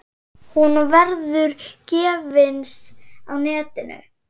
Hún verður gefins á netinu.